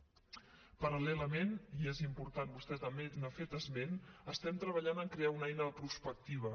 paral·lelament i és important vostè també n’ha fet esment estem treballant a crear una eina de prospectiva